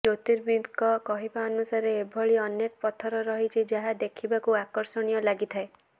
ଜ୍ୟୋତିର୍ବିଦଙ୍କ କହିବାନୁସାରେ ଏଭଳି ଅନକେ ପଥର ରହିଛି ଯାହା ଦେଖିବାକୁ ଆକର୍ଷଣୀୟ ଲାଗିଥାଏ